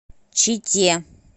чите